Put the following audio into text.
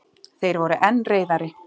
Þeir voru enn reiðari.